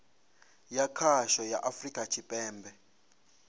ya khasho ya afurika tshipembe